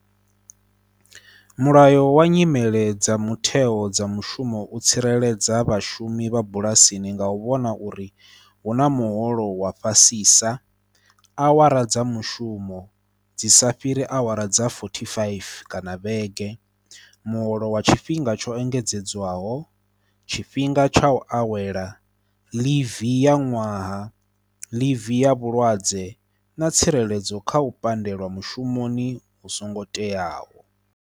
Mulayo wa nyimele dza mutheo dza mushumo u tsireledza vhashumi vha bulasini nga u vhona uri huna muholo wa fhasisa, awara dza mushumo dzi sa fhiri awara dza forty faifi kana vhege. Muholo wa tshifhinga tsho engedzedzwaho tshifhinga tsha u awela, leave ya ṅwaha, leave ya vhulwadze, na tsireledzo kha u pandelwa mushumoni u songo teaho.